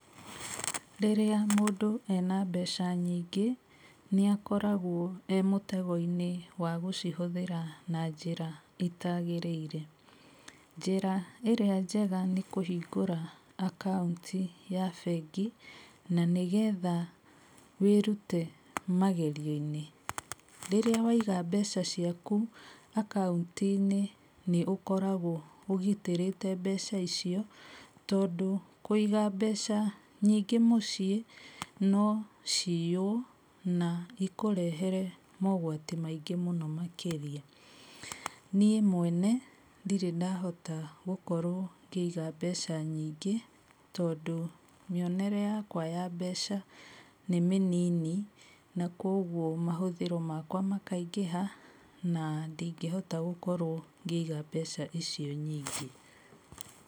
Rĩrĩa mũndũ ena mbeca nyingĩ nĩ akoragwo e mũtego-inĩ wa gũcihũthĩra na njĩra ĩrĩa ĩtaagĩrĩire. Njĩra ĩrĩa njega nĩ kũhingũra akaũnti ya bengi na nĩgetha wĩrute magerio-inĩ. Rĩrĩa waiga mbeca ciaku akaũnti-inĩ nĩ ũkoragwo ũgitĩrĩte mbeca icio tondũ kũiga mbeca nyingĩ mũciĩ no ciiywo na ikũrehere mogwati maingĩ mũno makĩria. Niĩ mwene ndirĩ ndahota gũkorwo ngĩiga mbeca nyingĩ, tondu mĩonere yakwa ya mbeca nĩ mĩnini. Na kwoguo mahũthĩro makwa makaingĩha na ndingĩhota gũkorwo ngĩiga mbeca icio nyingĩ.